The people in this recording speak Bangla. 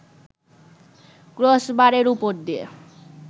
ক্রসবারের ওপর দিয়ে